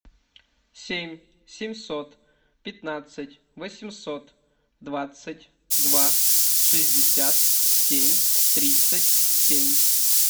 семь семьсот пятнадцать восемьсот двадцать два шестьдесят семь тридцать семь